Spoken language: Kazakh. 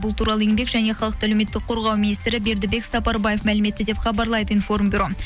бұл туралы еңбек және халықты әлеуметтік қорғау министрі бердібек сапарбаев мәлім етті деп хабарлайды информбюро